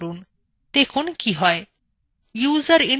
দেখুন কি হয়